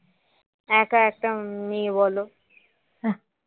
একা একটা মেয়ে বলো